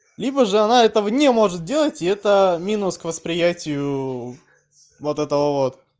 либо же она этого не может делать и это минус к восприятию вот этого вот